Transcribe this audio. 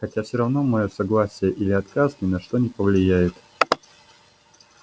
хотя все равно моё согласие или отказ ни на что не повлияет